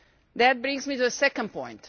This brings me to the second point.